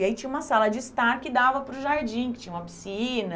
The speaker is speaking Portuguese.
E aí tinha uma sala de estar que dava para o jardim, que tinha uma piscina.